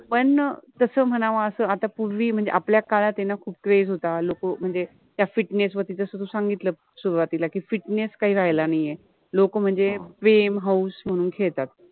पण तस मनाव, अस आता पुर्वि मनजेआपल्या काळात आहे न खूप क्रेज़ {crez} होता, लोक मनजे त्या फिटनेस {fitness} वरति जस तु सांगितला सुरवातिला कि फिटनेस {fitness} कहि राहिला नाहि आहे, लोक मनजे प्रेम, हौस मनुन खेळतात